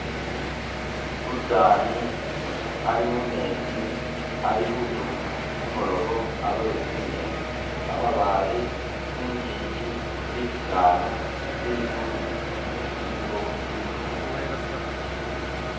Umusani ali mumetsi ali khutuma kumulobo alobe tsi'ngeni. kamabaale, tsingingi, bisaala, ligulu lilikho lifumbi.